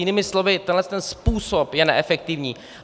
Jinými slovy tenhle ten způsob je neefektivní.